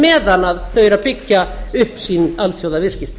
meðan þau eru að byggja upp sín alþjóðaviðskipti